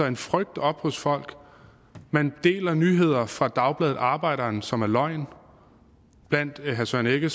en frygt op hos folk man deler nyheder fra dagbladet arbejderen som er løgn blandt herre søren egge